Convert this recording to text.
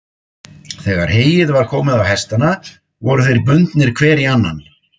Þegar heyið var komið á hestana voru þeir bundnir hver í annan.